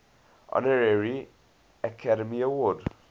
honorary academy award